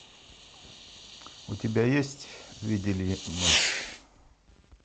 у тебя есть видели ночь